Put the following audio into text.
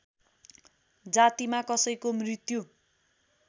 जातिमा कसैको मृत्यु